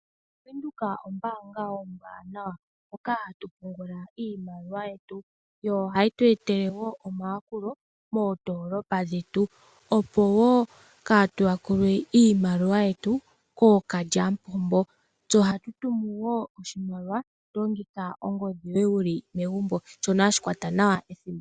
Bank Windhoek ombaanga ombwanawa, hoka hatu pungula iimaliwa yetu, yo ohayi tu etele wo omayakulo moondoolopa dhetu, opo wo kaa tu yakulwe iimaliwa yetu kookalyamupombo. Tse ohatu tumu wo oshimaliwa, to longitha ongodhi yoye wu li megumbo, shono hashi kwata nawa ethimbo.